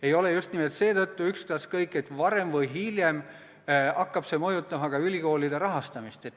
Ei ole just nimelt seetõttu ükstaskõik, et varem või hiljem hakkab see mõjutama ka ülikoolide rahastamist.